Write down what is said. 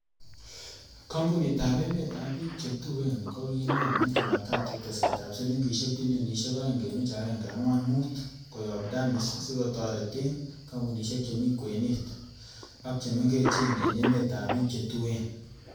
Kompunitab emetab ab bik che tuen kokinaam en Jumatatu tesetab silingisiek bilionisiek oeng kenuch agenge angwan mut koyob Danis sikotoreten kompunisiek chemi kwenet ak chemengechen en emetab bik che tuen.